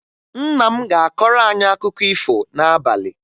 Nna m ga-akọrọ anyị akụkọ ifo n'abalị